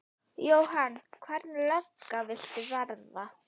Jóhann: Hvernig lögga viltu verða?